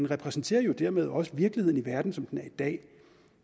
repræsenterer jo dermed også virkeligheden i verden som den er i dag